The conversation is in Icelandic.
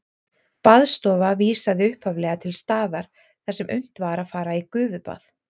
Baðstofa vísaði upphaflega til staðar þar sem unnt var að fara í gufubað.